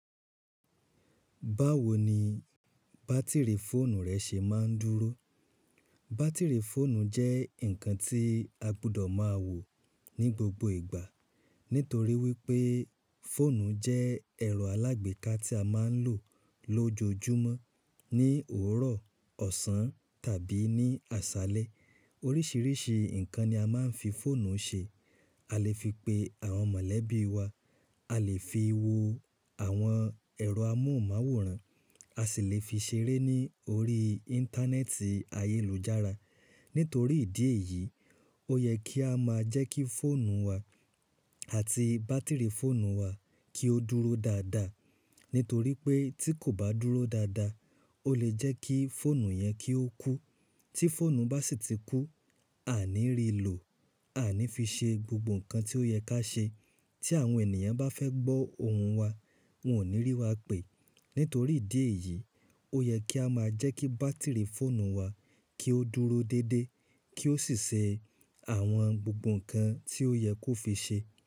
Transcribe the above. Báwo ni bátìrì fóònù rẹ ṣe máa ń dúró? Bátìrì fóònù jẹ́ ǹkan tí a gbọdọ̀ máa wò ní gbogbo ìgbà nítorí wípé fóònù jẹ́ ẹ̀rọ alágbèéká tí a máa ń lò lójoojúmọ́ ní òwúrọ̀, ọ̀sán tàbí ní àṣálẹ́. Oríṣiríṣi ǹkan ni a máa ń fi fóònù ṣe: a lè fi pe àwọn mọ̀lẹ́bí wa, a lè fi wo àwọn ẹ̀rọ amóhùnmáwòrán, a sì lè fi ṣeré ní orí Íńtánẹ́ẹ̀tì ayélujára. Nítorí ìdí èyí, ó yẹ kí a máa jẹ́ kí fóònù wa àti bátìrì fóònù wa kí ó dúró dáadáa. Nítorí pé tí kò bá dúró dáadáa, ó lè jẹ́ kí fóònù yẹn kí ó kú. Tí fóònù bá sì ti kú, a ní rí lò, a ní fi ṣe gbogbo ǹkan tí ó yẹ ká ṣe. Tí àwọn ènìyàn bá fẹ́ gbọ́ ohùn wa, wọn ò ní rí wa pè. Nítorí ìdí èyí, ó yẹ kí á máa jẹ́ kí bátìrì fóònù wa kí ó dúró dédé kí ó sì ṣe àwọn gbogbo ǹkan tí ó yẹ kó fi ṣe.